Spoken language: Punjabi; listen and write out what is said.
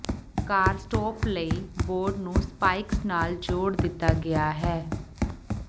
ਕਾੱਰਸਟੌਪ ਲਈ ਬੋਰਡ ਨੂੰ ਸਪਾਈਕਜ਼ ਨਾਲ ਜੋੜ ਦਿੱਤਾ ਗਿਆ ਹੈ